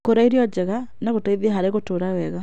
Kũrĩa irio njega no gũteithie harĩ gũtũũra wega.